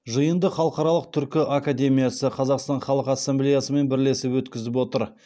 жиынды халықаралық түркі академиясы қазақстан халқы ассамблеясымен бірлесіп өткізіп отыр